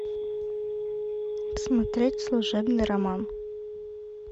смотреть служебный роман